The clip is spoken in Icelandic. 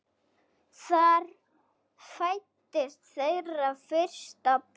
Þar fæddist þeirra fyrsta barn.